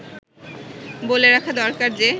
বলে রাখা দরকার যে